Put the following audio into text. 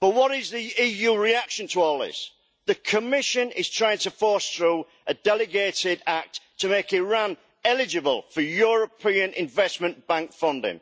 But what is the EU's reaction to all this? The Commission is trying to force through a delegated act to make Iran eligible for European Investment Bank funding.